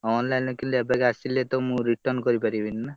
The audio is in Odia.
Online ରୁ କିଣିନେ ଏବାଗେ ଆସିନେ ତ ମୁଁ return କରିପାରିବିନି ନା।